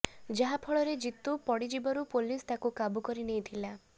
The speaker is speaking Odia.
ଯାହାଫଳରେ ଜିତୁ ପଡ଼ିଯିବାରୁ ପୋଲିସ ତାକୁ କାବୁ କରି ନେଇଥିଲା